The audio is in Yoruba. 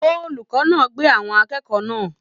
Olùkọ náà pé àwọn akẹ́kọ̀ọ́ náà.